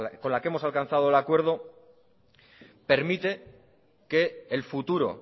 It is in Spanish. con la que hemos alcanzado el acuerdo permite que el futuro